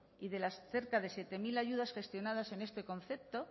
y de las cerca de siete mil ayudas gestionadas en este concepto